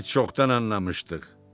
Biz çoxdan anlamışdıq.